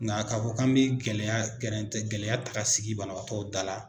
Nga k'a fɔ k'an bɛ gɛlɛya gɛrɛntɛ gɛlɛya ta ka sigi banabagatɔw da la.